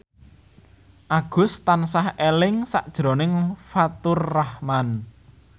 Agus tansah eling sakjroning Faturrahman